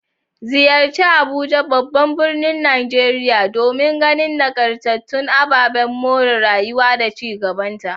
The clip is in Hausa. Ziyarci Abuja, babban birnin Najeriya, domin ganin nagartattun ababen more rayuwa da ci gabanta.